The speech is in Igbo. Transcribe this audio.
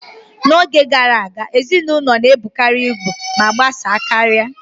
N'oge gara aga, ezinụlọ na-ebukarị ibu ma gbasaa karịa.